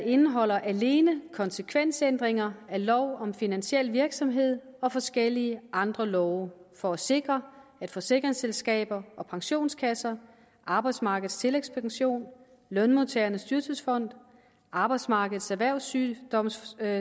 indeholder alene konsekvensændringer af lov om finansiel virksomhed og forskellige andre love for at sikre at forsikringsselskaber og pensionskasser arbejdsmarkedets tillægspension lønmodtagernes dyrtidsfond arbejdsmarkedets erhvervssygdomssikring